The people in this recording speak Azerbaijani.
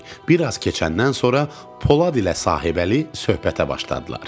Bir az keçəndən sonra Polad ilə Sahibəli söhbətə başladılar.